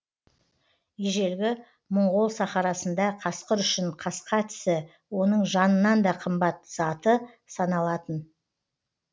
ежелгі мұңғол сахарасында қасқыр үшін қасқа тісі оның жанынан да қымбат заты саналатын